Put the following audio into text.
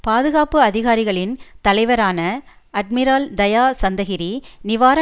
பாதுகாப்பு அதிகாரிகளின் தலைவரான அட்மிரால் தயா சந்தகிரி நிவார